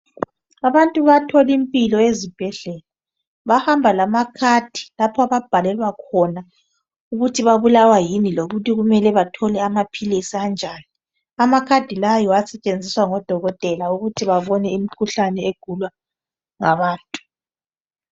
Abantu bayathola impilo ezibhedlela Bahamba lamakhadi lapho ababhalelwa khona ukuthi babulawa yini lokuthi kumele bathole amaphilisi anjani .Amakhadi la yiwo asetshenziswa ngodokotela ukuthi babone imkhuhlane egulwa ngabantu.